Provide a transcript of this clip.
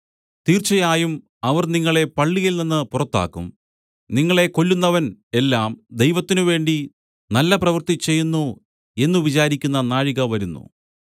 തീർച്ചയായും അവർ നിങ്ങളെ പള്ളിയിൽനിന്ന് പുറത്താക്കും നിങ്ങളെ കൊല്ലുന്നവൻ എല്ലാം ദൈവത്തിനുവേണ്ടി നല്ലപ്രവൃത്തി ചെയ്യുന്നു എന്നു വിചാരിക്കുന്ന നാഴിക വരുന്നു